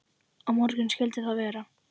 Á morgun skyldi það vera.